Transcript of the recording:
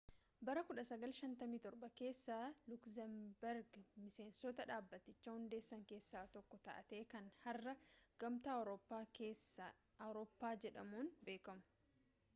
bara 1957 keessa lukzembergi miseensota dhaabbaticha hundeessan keessaa tokko taate kan har'a gamtaa awurooppaa jedhamuun beekamu